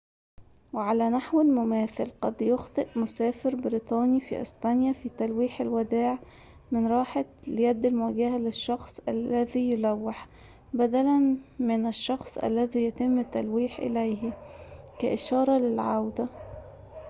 وعلى نحو مماثل، قد يخطئ مسافر بريطاني في أسبانيا في تلويح الوداع من راحة اليد المواجهة للشخص الذي يلوح بدلاً من الشخص الذي يتم التلويح إليه كإشارة للعودة